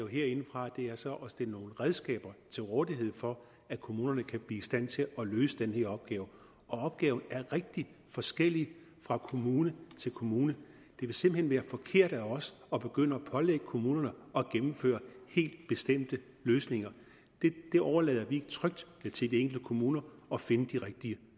herindefra er så at stille nogle redskaber til rådighed for at kommunerne kan blive i stand til at løse den her opgave og opgaven er rigtig forskellig fra kommune til kommune det vil simpelt hen være forkert af os at begynde at pålægge kommunerne at gennemføre helt bestemte løsninger vi overlader det trygt til de enkelte kommuner at finde de rigtige